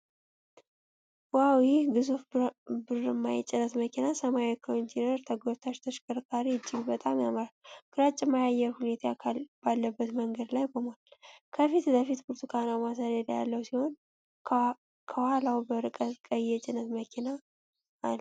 ዋው! ይህ ግዙፍ ብርማ የጭነት መኪና ሰማያዊ ኮንቴይነር ተጎታች ተሽከርካሪ እጅግ በጣም ያምራል። ግራጫማ የአየር ሁኔታ ባለበት መንገድ ላይ ቆሟል፤ ከፊት ለፊቱ ብርቱካናማ ሰሌዳ ያለው ሲሆን፣ ከኋላው በርቀት ቀይ የጭነት መኪና አለ።